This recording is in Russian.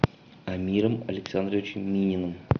амиром александровичем мининым